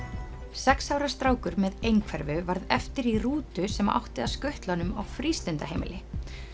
sex ára strákur með einhverfu varð eftir í rútu sem átti að skutla honum á frístundaheimili